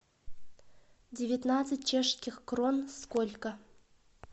девятнадцать чешских крон сколько